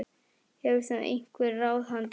Hefur þú einhver ráð handa okkur?